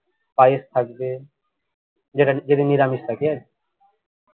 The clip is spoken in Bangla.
পায়েস থাকবে যেদিন নিরামিষ থাকে আরকি